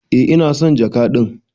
Eh ina son jaka din.